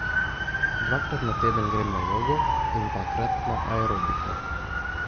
Dvakrat na teden grem na jogo in dvakrat na aerobiko.